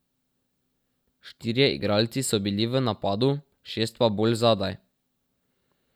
Štirje igralci so bili v napadu, šest pa bolj zadaj.